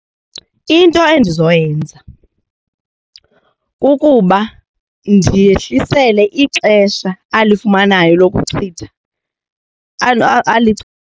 Into endizoyenza kukuba ndiyehlisele ixesha alifumanayo lokuchitha .